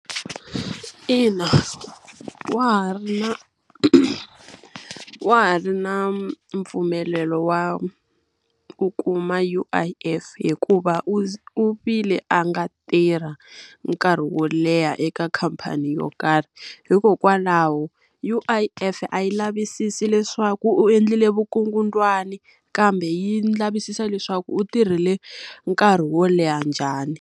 Ina wa ha ri na wa ha ri na mpfumelelo wa ku kuma U_I_F hikuva u u vile a nga tirha nkarhi wo leha eka khamphani yo karhi. Hikokwalaho U_I_F a yi lavisisi leswaku u endlile vukungundzwani, kambe yi lavisisa leswaku u tirhile nkarhi wo leha njhani.